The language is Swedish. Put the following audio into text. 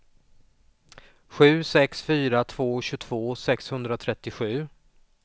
sju sex fyra två tjugotvå sexhundratrettiosju